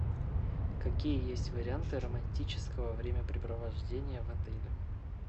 какие есть варианты романтического времяпрепровождения в отеле